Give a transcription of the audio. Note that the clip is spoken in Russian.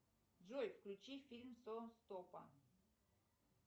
джой включи фильм сон стопа